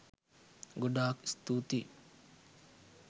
ගොඩාක් ස්තුතියි